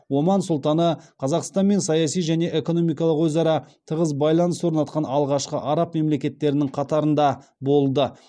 оман сұлтаны қазақстанмен саяси және экономикалық өзара тығыз байланыс орнатқан алғашқы араб мемлекеттерінің қатарында болды